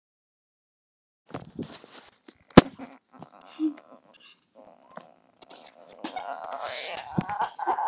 Sólin neitar að setjast, segja þeir.